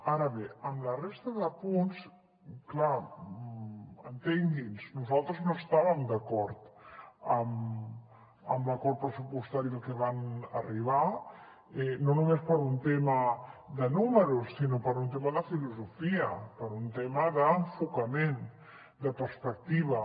ara bé amb la resta de punts clar entengui’ns nosaltres no estàvem d’acord amb l’acord pressupostari al que van arribar no només per un tema de números sinó per un tema de filosofia per un tema d’enfocament de perspectiva